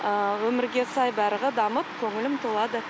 ыыы өмірге сай барлығы дамып көңілім толады